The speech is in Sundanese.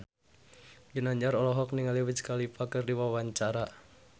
Ginanjar olohok ningali Wiz Khalifa keur diwawancara